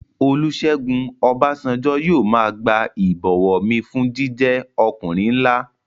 Olúsẹ́gun Ọbásanjọ́ yóò máa gba ìbọ̀wọ̀ mi fún jíjẹ́ ọkùnrin nlá